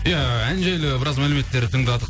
иә ән жайлы біраз мәлімметтер тыңдадық